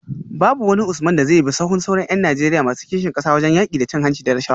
Babu wani Usman da zai bi sahun sauran ’yan Najeriya masu kishin kasa wajen yaki da cin hanci da rashawa